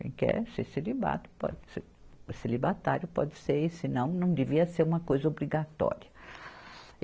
Quem quer ser celibato pode, ser celibatário pode ser, e se não, não devia ser uma coisa obrigatória.